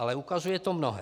Ale ukazuje to mnohé.